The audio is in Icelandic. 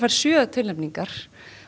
fær sjö tilnefningar